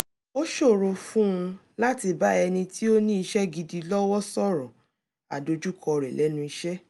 ó ṣòro fún un láti bá ẹnì tí ó ní iṣẹ́ gidi lọ́wọ́ sọ̀rọ̀ àdojúkọ rẹ̀ lẹ́nu iṣé